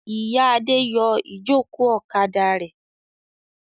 Ìyá Adé yọ ìjókòó ọ̀kadà rẹ̀.